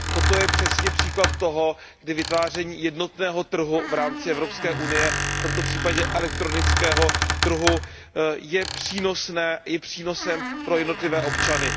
Toto je přesně příklad toho, kdy vytváření jednotného trhu v rámci Evropské unie, v tomto případě elektronického trhu, je přínosem pro jednotlivé občany.